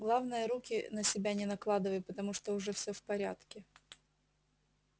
главное руки на себя не накладывай потому что уже всё в порядке